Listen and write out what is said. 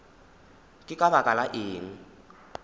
ke ka baka la eng